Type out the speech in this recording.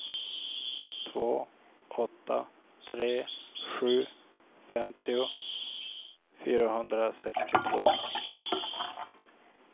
två åtta tre sju femtio fyrahundrasextiotvå